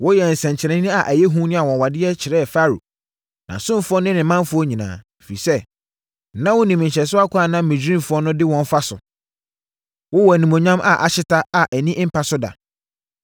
Woyɛɛ nsɛnkyerɛnneɛ a ɛyɛ hu ne anwanwadeɛ kyerɛɛ Farao, nʼasomfoɔ ne ne manfoɔ nyinaa, ɛfiri sɛ, na wonim nhyɛsoɔ ɛkwan a na Misraimfoɔ no de wɔn fa so. Wowɔ animuonyam a ahyeta a ani mpa so da.